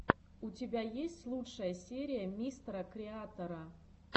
у тебя есть лучшая серия мистера креатора